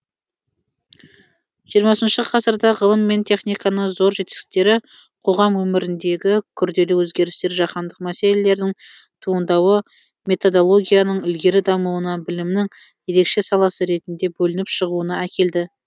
жиырмасыншы ғасырда ғылым мен техниканың зор жетістіктері қоғам өміріндегі күрделі өзгерістер жаһандық мәселелердің туындауы методологияның ілгері дамуына білімнің ерекше саласы ретінде бөлініп шығуына әкелді